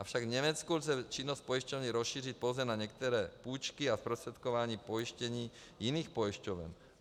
Avšak v Německu lze činnost pojišťovny rozšířit pouze na některé půjčky a zprostředkování pojištění jiných pojišťoven.